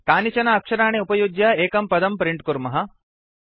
कानिचन अक्षराणि उपयुज्य एकं पदं प्रिण्ट् कुर्मः